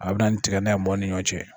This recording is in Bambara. A bɛ na ni tigadɛgɛn ye mɔgɔw ni ɲɔgɔn cɛ